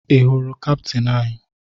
Ị hụrụ kaptịn anyị?